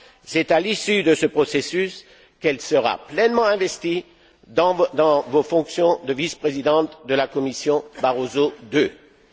C'est à l'issue de ce processus qu'elle sera pleinement investie dans ses fonctions de vice présidente de la Commission Barroso